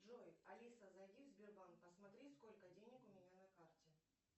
джой алиса зайди в сбербанк посмотри сколько денег у меня на карте